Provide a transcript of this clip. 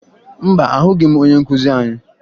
Mba, ahụghị m onye nkụzi anyị